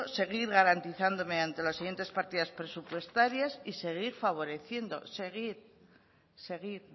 seguir garantizándome ante las siguientes partidas presupuestarias y seguir favoreciendo seguir seguir